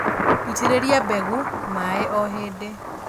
Itĩrĩria mbegũ maĩĩ o hĩndĩ